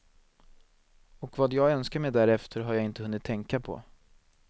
Och vad jag önskar mig därefter har jag inte hunnit tänka på.